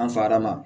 An farama